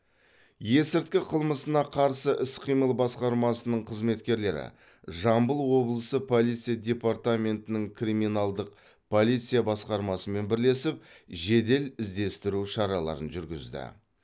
есірткі қылмысына қарсы іс қимыл басқармасының қызметкерлері жамбыл облысы полиция департаментінің криминалдық полиция басқармасымен бірлесіп жедел іздестіру шараларын жүргізді